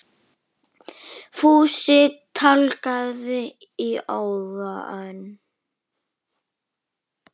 Fúsi tálgaði í óða önn.